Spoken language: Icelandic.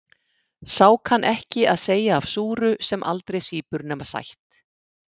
Sá kann ekki að segja af súru sem aldrei sýpur nema sætt.